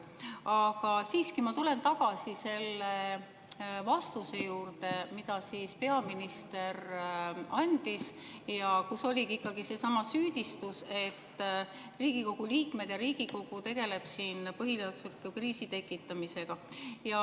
Aga siiski ma tulen tagasi selle vastuse juurde, mille peaminister andis ja milles oli seesama süüdistus, et Riigikogu liikmed tegelevad siin põhiseadusliku kriisi tekitamisega.